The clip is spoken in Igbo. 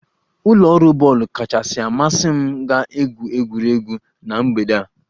Ụlọ ọrụ bọọlụ kachasị amasị m ga-egwu egwuregwu na mgbede a